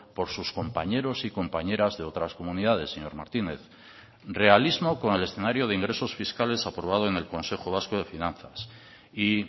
por sus compañeros y compañeras de otras comunidades señor martínez realismo con el escenario de ingresos fiscales aprobado en el consejo vasco de finanzas y